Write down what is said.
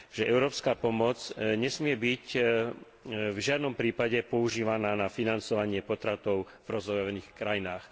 Európska pomoc nesmie byť v žiadnom prípade používaná na financovanie potratov v rozvojových krajinách.